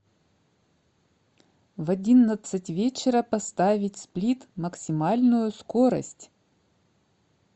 в одиннадцать вечера поставить сплит максимальную скорость